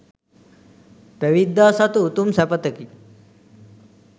පැවිද්දා සතු උතුම් සැපතකි.